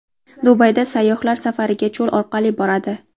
Dubayda sayyohlar safariga cho‘l orqali boradi.